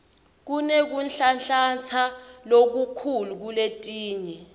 kunekunhlanhlatsa lokukhulu kuletinye